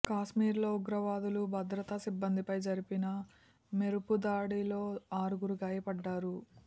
కాశ్మీర్ లో ఉగ్రవాదులు భద్రతా సిబ్బందిపై జరిపిన మెరుపుదాడిలో ఆరుగురు గాయపడ్డారు